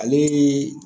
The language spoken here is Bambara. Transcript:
Ale